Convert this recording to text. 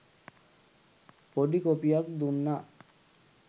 පොඩි කොපියක් දුන්න